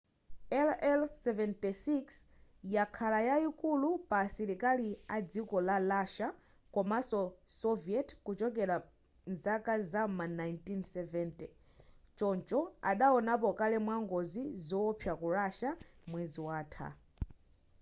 il-76 yakhala mbali yayikulu ya asilikali a dziko la russia komanso soviet kuchokera mzaka zam'ma 1970 choncho adawonapo kale ngozi yowopsa ku russia mwezi watha